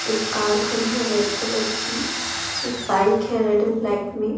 एक कार खड़ी है रेड कलर की एक बाइक है रेड एंड ब्लैक में ।